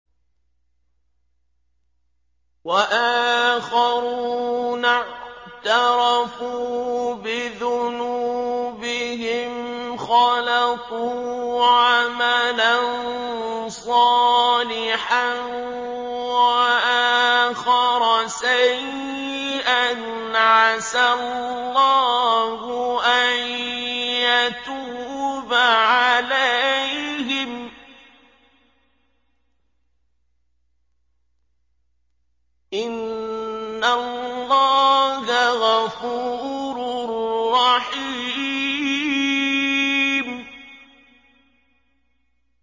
وَآخَرُونَ اعْتَرَفُوا بِذُنُوبِهِمْ خَلَطُوا عَمَلًا صَالِحًا وَآخَرَ سَيِّئًا عَسَى اللَّهُ أَن يَتُوبَ عَلَيْهِمْ ۚ إِنَّ اللَّهَ غَفُورٌ رَّحِيمٌ